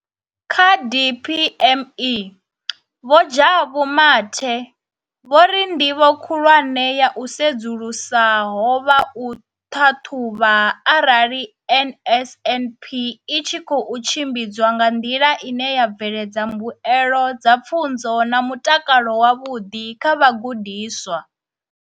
Kha DPME, Vho Jabu Mathe, vho ri ndivho khulwane ya u sedzulusa ho vha u ṱhaṱhuvha arali NSNP i tshi khou tshimbidzwa nga nḓila ine ya bveledza mbuelo dza pfunzo na mutakalo wavhuḓi kha vhagudiswa.